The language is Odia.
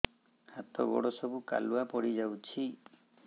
ହାତ ଗୋଡ ସବୁ କାଲୁଆ ପଡି ଯାଉଛି